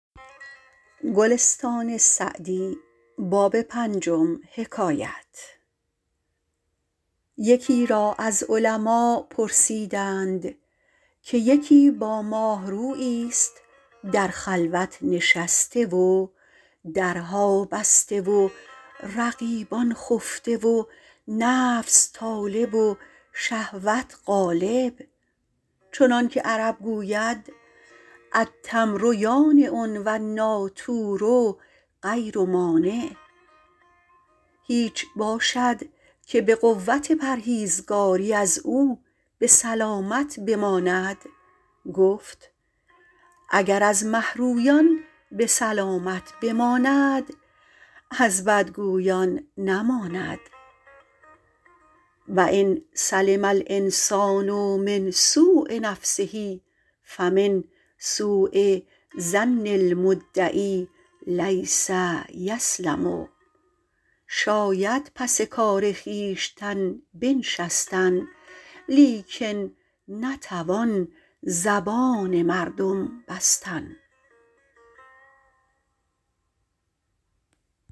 یکی را از علما پرسیدند که یکی با ماهروییست در خلوت نشسته و درها بسته و رقیبان خفته و نفس طالب و شهوت غالب چنان که عرب گوید التمر یانع و النٰاطور غیر مانع هیچ باشد که به قوت پرهیزگاری از او به سلامت بماند گفت اگر از مهرویان به سلامت بماند از بدگویان نماند و ان سلم الإنسان من سوء نفسه فمن سوء ظن المدعی لیس یسلم شاید پس کار خویشتن بنشستن لیکن نتوان زبان مردم بستن